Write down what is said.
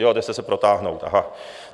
Jo, byl jste se protáhnout, aha.